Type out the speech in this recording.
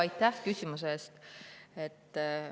Aitäh küsimuse eest!